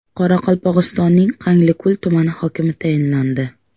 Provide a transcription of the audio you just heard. Qoraqalpog‘istonning Qanliko‘l tumani hokimi tayinlandi.